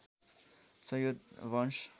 सैयद वंश